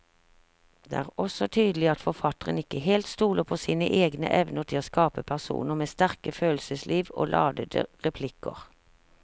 Det er også tydelig at forfatteren ikke helt stoler på sine egne evner til å skape personer med sterke følelsesliv og ladete replikker.